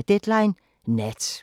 Deadline Nat